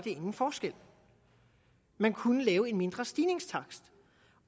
ingen forskel man kunne lave en mindre stigningstakt